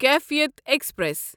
کیفیت ایکسپریس